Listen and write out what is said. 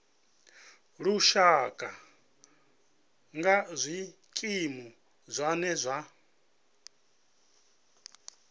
lushaka nga zwikimu zwine zwa